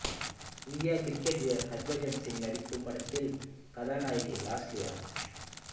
இந்திய கிரிக்கெட் வீரர் ஹர்பஜன் சிங் நடிக்கும் படத்தின் கதாநாயகி லாஸ்லியா